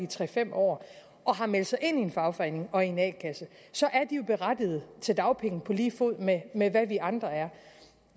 tre fem år og har meldt sig ind i en fagforening og en a kasse så er de jo berettiget til dagpenge på lige fod med med hvad vi andre er